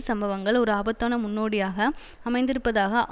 சம்பவங்கள் ஒரு ஆபத்தான முன்னோடியாக அமைந்திருப்பதாக